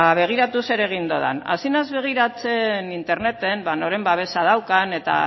begiratu zer egin dudan hasi naiz begiratzen interneten noren babesa daukan eta